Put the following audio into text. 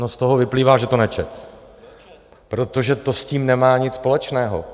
No, z toho vyplývá, že to nečetl, protože to s tím nemá nic společného.